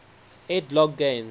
ed logg games